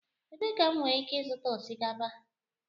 Ebee ka m nwere ike ịzụta osikapa?